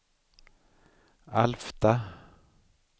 Alfta